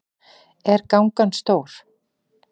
Er gangan stór?